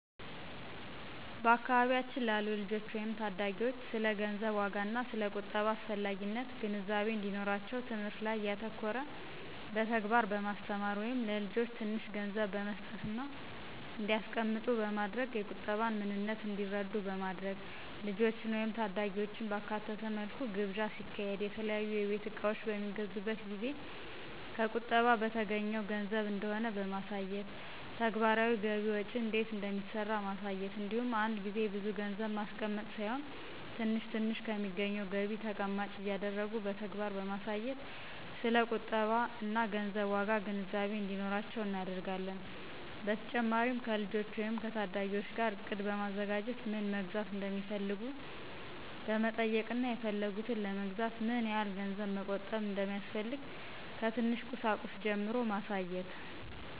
በአካባቢያችን ላሉ ልጆች ወይም ታዳጊዎች ስለ ገንዘብ ዋጋና ስለ ቁጠባ አስፈላጊነት ግንዛቤ እንዲኖራቸው ትምህርት ላይ ያተኮረ በተግባር በማስተማር(ለልጆች ትንሽ ገንዘብ በመስጠትና እንዲያስቀምጡት በማድረግ የቁጠባን ምንነት እንዲረዱ በማድረግ)፣ ልጆችን ወይም ታዳጊዎችን ባካተተ መልኩ ግብዣ ሲካሄድ፣ የተለያዩ የቤት እቃዎች በሚገዙበት ጊዜ ከቁጠባ በተገኘው ገንዘብ እንደሆነ በማሳየት፣ ተግባራዊ ገቢ ወጪ እንዴት እንደሚሰራ ማሳየት እንዲሁም አንድ ጊዜ ብዙ ገንዘብ ማስቀመጥ ሳይሆን ትንሽ ትንሽ ከሚገኘው ገቢ ተቀማጭ እያደረጉ በተግባር በማሳየት ስለ ቁጠባና ገንዘብ ዋጋ ግንዛቤ እንዲኖራቸው እናደርጋለን። በተጨማሪም ከልጆች ወይም ከታዳጊዎች ጋር እቅድ በማዘጋጀት ምን መግዛት እንደሚፈልጉ በመጠየቅና የፈለጉትን ለመግዛት ምን ያህል ገንዘብ መቆጠብ እንደሚያስፈልግ ከትንሽ ቁሳቁስ ጀምሮ ማሳየት።